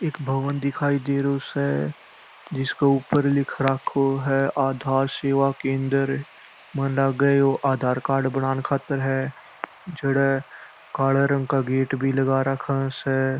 एक भवन दिखाई दे रओ स जिसके ऊपर लिख रखो है आधार कार्ड सेवा केंद्र मन लागे ये आधार कार्ड बनाने खातिर है जेमे काळा कलर का गेट भी लगा राखा स।